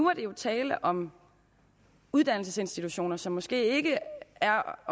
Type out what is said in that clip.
er tale om uddannelsesinstitutioner som måske ikke er